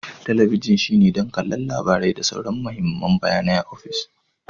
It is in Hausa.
Talabijin shine don kallon labarai da sauran mahimman bayanai a ofis.